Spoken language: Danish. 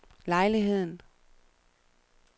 lejligheden